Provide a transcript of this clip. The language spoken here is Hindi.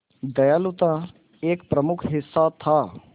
दयालुता एक प्रमुख हिस्सा था